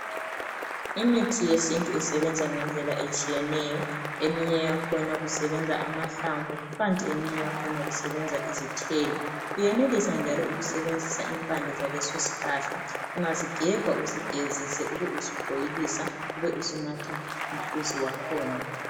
imithi yesintu isebenza ngendlela etshiyeneyo eminye yakhona kusebenza amahlamvu kukanti eminye yakhona kusebenza izithelo uyenelisa bjalo ukusebenzisa impande zaleso sihlahla ungasigebha usigezise ube usubhoyilisa ube usu natha umhluzi wakhona